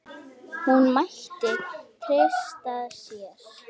Hún mætti treysta sér.